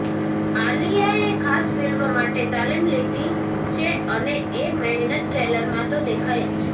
આલિયાએ ખાસ ફિલ્મ માટે તાલિમ લીધી છે અને એ મહેનત ટ્રેલરમાં તો દેખાય જ છે